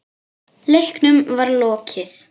Leiknum var lokið.